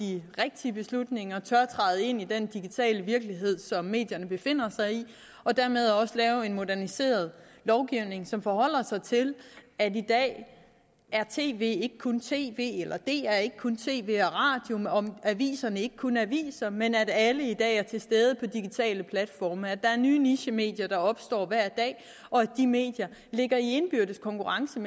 de rigtige beslutninger og tør træde ind i den digitale virkelighed som medierne befinder sig i og dermed også lave en moderniseret lovgivning som forholder sig til at i dag er tv ikke kun tv dr er ikke kun tv og aviser er ikke kun aviser men at alle i dag er til stede på digitale platforme at der er nye nichemedier der opstår hver dag og at de medier ligger i indbyrdes konkurrence